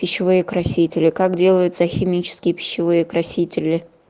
пищевые красители как делаются химические пищевые красители